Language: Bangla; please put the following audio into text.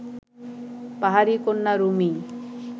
পাহাড়ি কন্যা রুমি